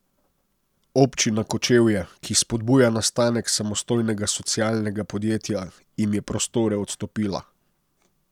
Občina Kočevje, ki spodbuja nastanek samostojnega socialnega podjetja, jim je prostore odstopila.